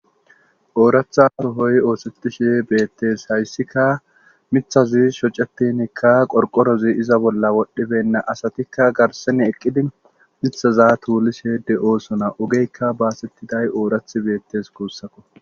Ooratha ohoy oosetishi beettes hayssika mithazi shocatinikka qorqorozi iza bolla wodhdhibenna asatikka garsene eqqidi mithaza tuulishe de7oosona ogeykka baasettiday oorath beettes kuussakko